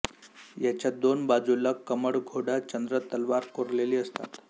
याच्या दोन बाजूला कमळ घोडा चंद्र तलवार कोरलेली असते